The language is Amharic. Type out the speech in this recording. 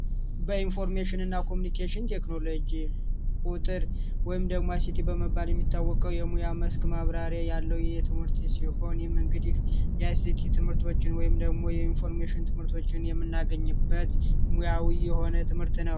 በኢንፎርሜሽንና ኮሙኒኬሽን ቴክኖሎጂ ቁጥር ወይም ደግሞ በመባል የሚታወቀው የሙያ መስክ ማብራሪያ ያለው የትምህርት ሲሆን የመንገዴ ትምህርቶችን ወይም ደግሞ የኢንፎርሜሽን ትምህርቶችን የምናገኝበት ሙያዊ የሆነ ትምህርት ነው